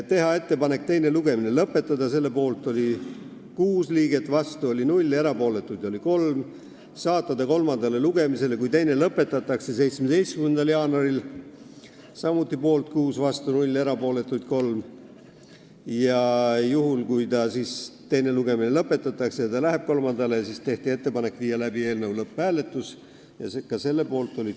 Tehti ettepanek teine lugemine lõpetada ja saata eelnõu kolmandale lugemisele, kui teine lõpetatakse, 17. jaanuariks ning panna see lõpphääletusele .